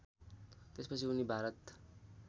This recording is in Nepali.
त्यसपछि उनी भारत